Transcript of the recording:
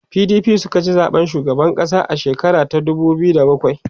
PDP sukaci zaɓen shugaban ƙasa a shekara ta dubu biyu da bakwai